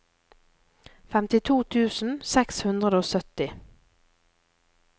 femtito tusen seks hundre og sytti